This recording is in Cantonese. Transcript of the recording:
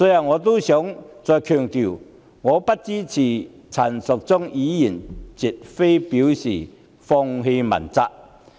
我想再強調，我不支持陳淑莊議員的議案，絕非表示放棄問責。